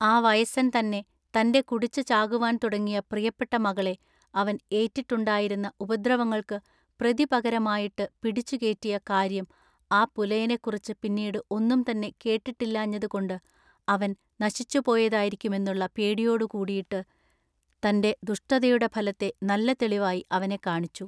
ആ വയസ്സൻ തന്നെ തൻ്റെ കുടിച്ചു ചാകുവാൻ തുടങ്ങിയ പ്രിയപ്പെട്ട മകളെ അവൻ ഏറ്റിട്ടുണ്ടായിരുന്ന ഉപദ്രവങ്ങൾക്കു പ്രതിപകരമായിട്ടു പിടിച്ചു കേറ്റിയ കാര്യം ആ പുലയനെക്കുറിച്ചു പിന്നീടു ഒന്നും തന്നെ കേട്ടിട്ടില്ലാഞ്ഞതു കൊണ്ട് അവൻ നശിച്ചുപോയതായിരിക്കുമെന്നുള്ള പേടിയോടു കൂടിയിട്ട് തൻ്റെ ദുഷ്ടതയുടെ ഫലത്തെ നല്ല തെളിവായി അവനെ കാണിച്ചു.